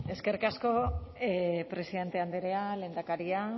eskerrik asko presidente andrea lehendakaria